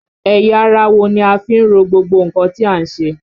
Ẹ̀yà ara wo ni a fi ń ro gbogbo nǹkan tí à ń ṣe?